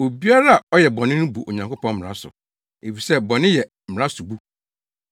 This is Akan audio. Obiara a ɔyɛ bɔne no bu Onyankopɔn mmara so, efisɛ bɔne yɛ mmara sobu.